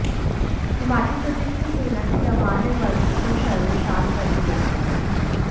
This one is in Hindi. हिमाचल प्रदेश में सेना के जवान ने वर्दी को शर्मशार कर दिया है